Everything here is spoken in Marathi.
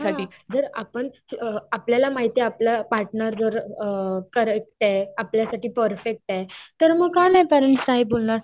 हा जर आपण अअ आपल्याला माहितीये आपला पार्टेनर अअ कॅरेक्ट आपल्यासाठी परफेक्टे तर मग का नाही पेरेंट्स नाही बोलणारं